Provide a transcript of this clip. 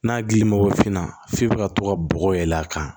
N'a gilin mago finna f'i bɛ ka to ka bɔgɔ yɛlɛ a kan